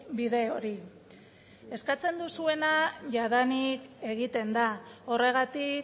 bide hori eskatzen duzuena jadanik egiten da horregatik